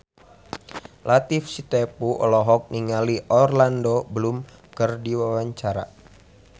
Latief Sitepu olohok ningali Orlando Bloom keur diwawancara